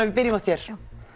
við byrjum á þér